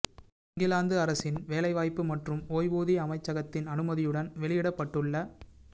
இங்கிலாந்து அரசின் வேலை வாய்ப்பு மற்றும் ஓய்வூதிய அமைச்சகத்தின் அனுமதியுடன் வெளியிடப்பட்டுள்ள